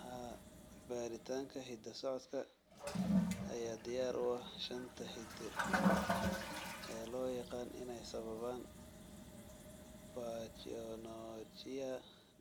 Haa, baaritaanka hidda-socodka ayaa diyaar u ah shanta hidde ee loo yaqaan inay sababaan pachyonychia